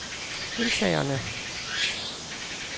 deltagerne